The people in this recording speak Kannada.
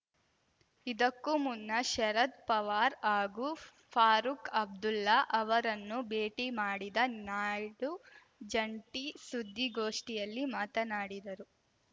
ಇದಕ್ಕೂ ಮುನ್ನ ಶರದ್‌ ಪವಾರ್ ಹಾಗೂ ಫಾರೂಕ್‌ ಅಬ್ದುಲ್ಲಾ ಅವರನ್ನು ಭೇಟಿ ಮಾಡಿದ ನಾಯ್ಡು ಜಂಟಿ ಸುದ್ದಿಗೋಷ್ಠಿಯಲ್ಲಿ ಮಾತನಾಡಿದರು